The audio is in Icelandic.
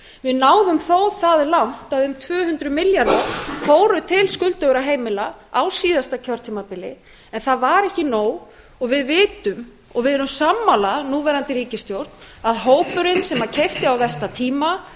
við náðum þó það langt að um tvö hundruð milljarðar fóru til skuldugra heimila á síðasta kjörtímabili en það var ekki nóg og við vitum og við erum sammála núverandi ríkisstjórn að hópurinn sem keypti á versta tíma hann á